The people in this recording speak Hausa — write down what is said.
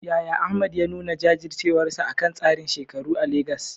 Yaya Ahmad ya nuna jajircewarsa akan tsarin shekaru a Legas?